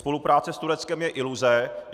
Spolupráce s Tureckem je iluze.